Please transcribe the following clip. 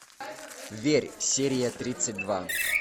верь серия тридцать два